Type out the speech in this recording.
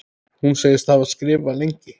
Hún segist hafa skrifað lengi.